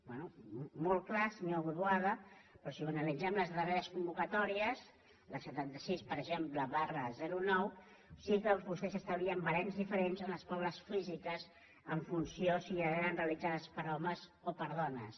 bé molt clar senyor boada però si analitzem les darre·res convocatòries per exemple la setanta sis nou sí que vostès establien barems diferents a les proves físiques en fun·ció de si eren realitzades per homes o per dones